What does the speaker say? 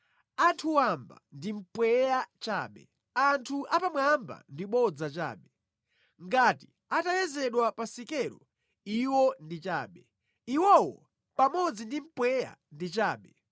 Anthu wamba ndi mpweya chabe; anthu apamwamba ndi bodza chabe; ngati atayezedwa pa sikelo iwo ndi chabe; iwowo pamodzi ndi mpweya ndi chabe